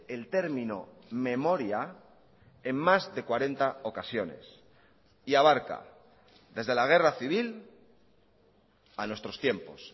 el término memoria en más de cuarenta ocasiones y abarca desde la guerra civil a nuestros tiempos